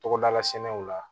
Togodala sɛnɛw la